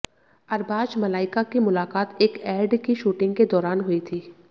अरबाज़ मलाइका की मुलाकात एक एड की शूटिंग के दौरान हुई थी